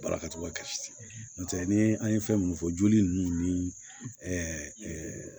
Baarakɛcogo ka di ntɛ ni an ye fɛn minnu fɔ joli ninnu ni